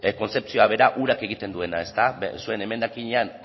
kontzepzioa bera urak egiten duena zuen emendakinean